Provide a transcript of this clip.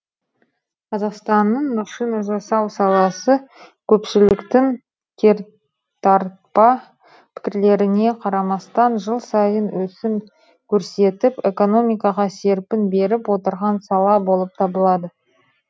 қазақстанның машина жасау саласы көпшіліктің кертартпа пікірлеріне қарамастан жыл сайын өсім көрсетіп экономикаға серпін беріп отырған сала болып табылады